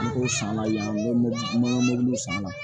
N ko san la yan n b'o san a la